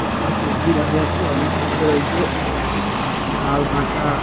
এখানে সবজি দেখা যাচ্ছে অনেক টমেটো রয়েছে উউ লাল কাঁচা।